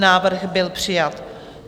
Návrh byl přijat.